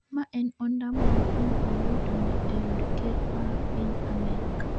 Ma en ondamo mokwongo Oloo donjo e od ker ma piny Amerka